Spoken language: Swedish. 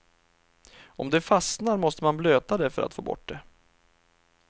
Om det fastnar måste man blöta det för att få bort det.